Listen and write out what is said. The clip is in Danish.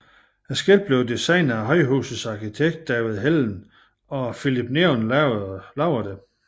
Skiltet blev designet af højhusets arkitekt David Helldén og Philips Neon lavede det